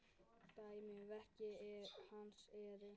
Dæmi um verk hans eru